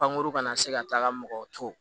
Pankurun kana na se ka taga mɔgɔ to